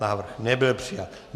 Návrh nebyl přijat.